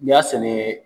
N'i y'a sɛnɛ